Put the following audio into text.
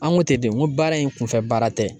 An ko ten de n ko baara in kunfɛ baara tɛ